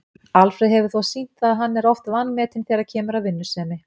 Alfreð hefur þó sýnt það að hann er oft vanmetinn þegar kemur að vinnusemi.